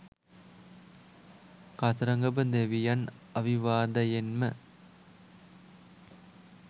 කතරගම දෙවියන් අවිවාදයෙන්ම